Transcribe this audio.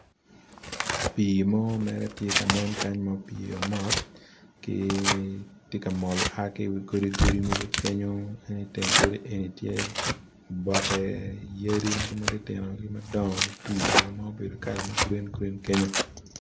Pii mo mere tye kanen kany ma opye mot gi tye kamol a ki iwi godi godi mogo kenyo en iteng godi egi tye iye oboke yadi mogo matinotino kimadongo mutwio ma gubedo kala ma gurin gurin kenyo.